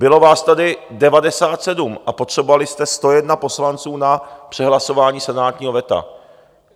Bylo vás tady 97 a potřebovali jste 101 poslanců na přehlasování senátního veta.